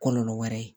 Kɔlɔlɔ wɛrɛ ye